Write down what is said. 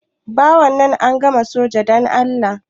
Ba wannan, an gama soja da Allah.